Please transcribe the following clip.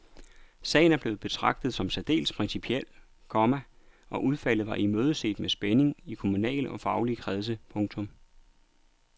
Sagen er blevet betragtet som særdeles principiel, komma og udfaldet var imødeset med spænding i kommunale og faglige kredse. punktum